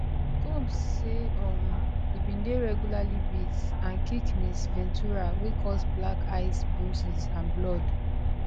combs say um e bin dey regularly beat and kick ms ventura wey cause black eyes bruises and blood